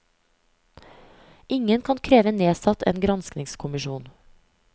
Ingen kan kreve nedsatt en granskningskommisjon.